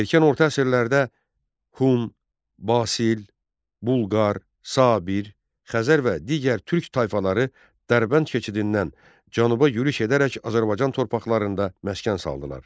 Erkən orta əsrlərdə Hun, Basil, Bulqar, Sabir, Xəzər və digər türk tayfaları Dərbənd keçidindən Cənuba yürüş edərək Azərbaycan torpaqlarında məskən saldılar.